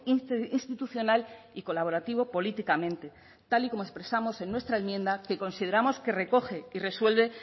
interinstitucional y colaborativo políticamente tal y como expresamos en nuestra enmienda que consideramos que recoge y resuelve